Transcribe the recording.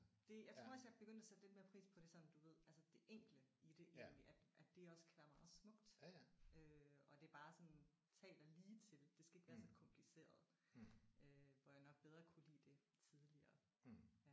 Det jeg tror også jeg er begyndt at sætte lidt mere pris på det sådan du ved altså det enkle i det egentlig at at det også kan være meget smukt. Og at det bare sådan taler lige til. Det skal ikke være så kompliceret. Øh hvor jeg nok bedre kunne lide det tidligere